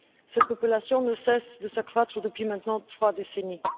Cette population ne cesse de s'accroître depuis maintenant trois décennies.